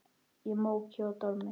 Í móki og dormi.